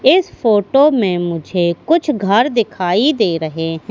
इस फोटो मे मुझे कुछ घर दिखाई दे रहे है।